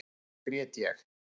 Þá grét ég.